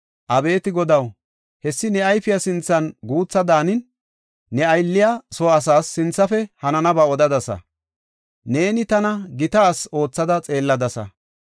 Abeeti Godaw, hessi ne ayfiya sinthan guutha daanin, ne aylliya soo asaas sinthafe hananaba odadasa. Neeni tana gita asi oothada xeelladasa.